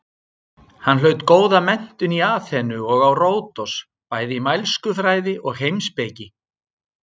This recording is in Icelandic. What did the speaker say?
Hann hlaut góða menntun í Aþenu og á Ródos bæði í mælskufræði og heimspeki.